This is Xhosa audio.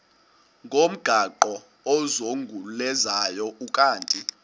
ngomgaqo ozungulezayo ukanti